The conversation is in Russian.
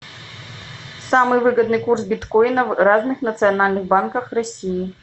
самый выгодный курс биткоина в разных национальных банках россии